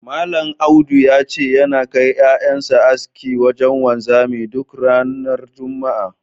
Malam Audu ya ce, yana kai ƴaƴan sa aski wajen wanzami duk ranar juma'a.